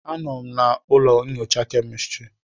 Anọ m na ụlọ nyocha kemistri.